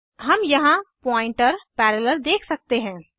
हम यहाँ pointer parallel देख सकते हैं